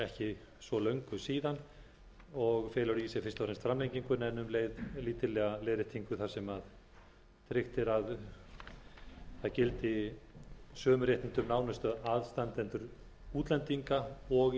í sér fyrst og fremst framlengingu en um leið lítillega leiðréttingu þar sem tryggt er að samkvæmt lögum gildi sömu réttindi um nánustu aðstandendur útlendinga og